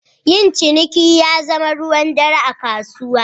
Yin ciniki ya zama ruwan dare a kasuwa.